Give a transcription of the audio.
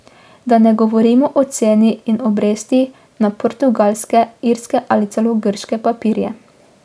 Da ne govorimo o ceni in obrestih na portugalske, irske ali celo grške papirje.